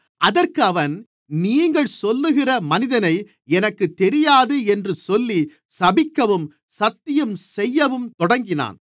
அதற்கு அவன் நீங்கள் சொல்லுகிற மனிதனை எனக்குத் தெரியாது என்று சொல்லி சபிக்கவும் சத்தியம் செய்யவும் தொடங்கினான்